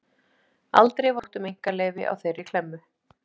Aldrei var sótt um einkaleyfi á þeirri klemmu.